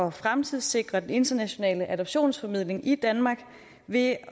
at fremtidssikre den internationale adoptionsformidling i danmark ved